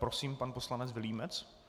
Prosím, pan poslanec Vilímec.